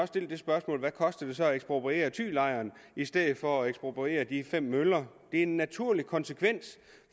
det spørgsmål hvad koster det så at ekspropriere thylejren i stedet for at ekspropriere de fem møller det en naturlig konsekvens